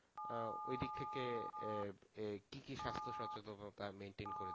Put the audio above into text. আহ ঐদিক থেকে আহ আহ কি কি সাস্থ সচেতনতা maintain করেছো?